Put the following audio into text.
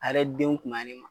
A yɛrɛ denw kunbayani ma